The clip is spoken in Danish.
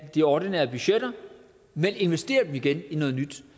de ordinære budgetter men investerer det igen i noget nyt